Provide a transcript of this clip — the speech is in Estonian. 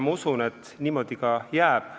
Ma usun, et niimoodi ka jääb.